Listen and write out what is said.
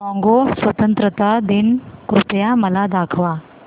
Congo स्वतंत्रता दिन कृपया मला दाखवा